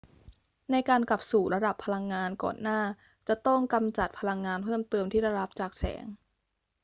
ในการกลับสู่ระดับพลังงานก่อนหน้าจะต้องกำจัดพลังงานเพิ่มเติมที่ได้รับจากแสง